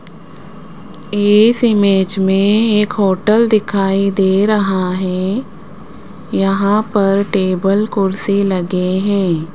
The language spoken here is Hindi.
इस इमेज में एक होटल दिखाई दे रहा है यहां पर टेबल कुर्सी लगे हैं।